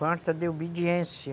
Falta de obediência.